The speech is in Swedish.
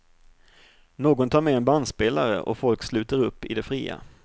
Någon tar med en bandspelare och folk sluter upp i det fria.